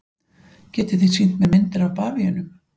Getið þið sýnt mér myndir af bavíönum?